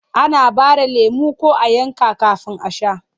Ana ɓare lemo ko a yanka kafin a sha.